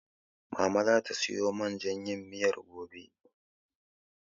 Mama zata siyo man jan yin miyar gobe.